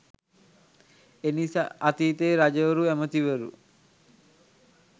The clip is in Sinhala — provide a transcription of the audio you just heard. එනිසා අතීතයේ රජවරු ඇමතිවරු